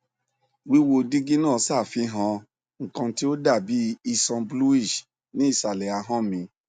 wíwo dígí náà ṣàfihàn nnkan tí ó dàbí iṣan bluish ní ìsàlẹ ahọn mi